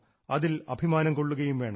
അതിൽ അഭിമാനം കൊള്ളുകയും വേണം